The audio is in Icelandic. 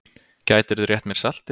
Gætirðu rétt mér saltið?